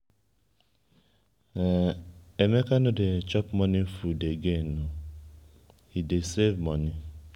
emeka no dey chop morning food again oo he dey save money.